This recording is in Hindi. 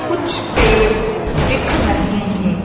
कुछ पेड़ दिख रहे हैं।